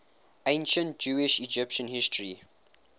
ancient jewish egyptian history